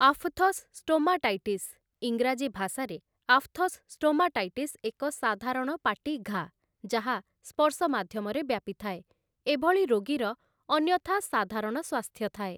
Aphthous stomatitis ଇଂରାଜୀ ଭାଷାରେ aphthous stomatitis ଏକ ସାଧାରଣ ପାଟି ଘାଆ, ଯାହା ସ୍ପର୍ଶ ମାଧ୍ୟମରେ ବ୍ୟାପିଥାଏ, ଏ ଭଳି ରୋଗୀର ଅନ୍ୟଥା ସାଧାରଣ ସ୍ୱାସ୍ଥ୍ୟ ଥାଏ ।